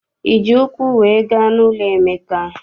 Iji ụkwụ wee gaa n'ụlọ Emeka?